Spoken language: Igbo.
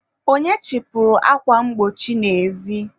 onye chịpụrụ akwa mgbochi n'ezi?